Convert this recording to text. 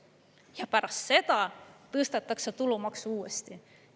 Ja pärast seda tõstetakse tulumaksu uuesti.